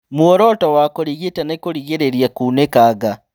Muoroto wa kũrigita nĩ kũrigĩrĩria kunĩkanga